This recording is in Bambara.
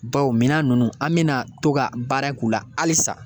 Bawo minan ninnu an bɛna to ka baara k'u la halisa